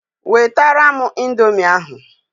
Wetara m indomie ahụ!